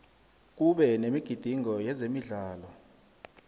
kube nemigidingo yezemidlalo